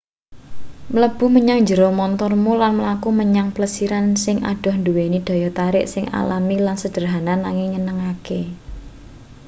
mlebu menyang njero montormu lan mlaku menyang plesiran sing adoh nduweni daya tarik sing alami lan sederhana nanging nyenengke